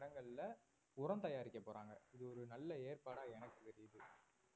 இடங்கள்ல உரம் தயாரிக்கப் போறாங்க இது ஒரு நல்ல ஏற்பாடா எனக்கு தெரியுது